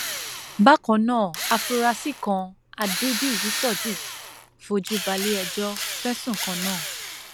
bákan náà àfúráṣí kan adébíyí sodiq fojú balẹẹjọ fẹsùn kan náà